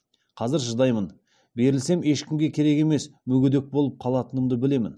қазір шыдаймын берілсем ешкімге керек емес мүгедек болып қалатынымды білемін